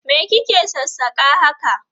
Me ki ke sassaka haka?